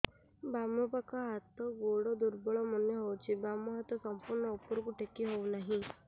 ବାମ ପାଖ ହାତ ଗୋଡ ଦୁର୍ବଳ ମନେ ହଉଛି ବାମ ହାତ ସମ୍ପୂର୍ଣ ଉପରକୁ ଟେକି ହଉ ନାହିଁ